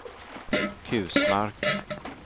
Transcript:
Kusmark